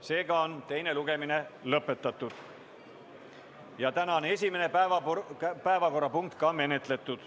Seega on teine lugemine lõpetatud ja tänane esimene päevakorrapunkt menetletud.